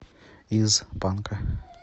из банка